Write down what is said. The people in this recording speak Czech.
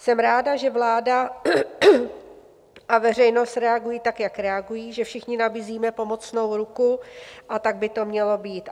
Jsem ráda, že vláda a veřejnost reagují tak, jak reagují, že všichni nabízíme pomocnou ruku, a tak by to mělo být.